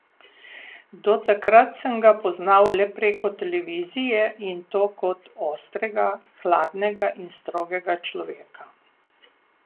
Do takrat sem ga poznal le preko televizije in to kot ostrega, hladnega in strogega človeka.